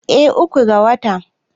eh uku ga wata